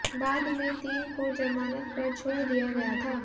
बाद में तीन को जमानत पर छोड़ दिया गया था